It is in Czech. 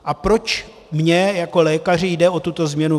A proč mně jako lékaři jde o tuto změnu?